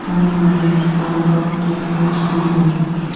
some lights are of different designs.